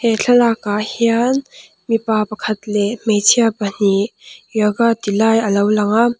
he thlalak ah hian mipa pakhat leh hmeichhia pahnih yoga ti lai a lo lang a.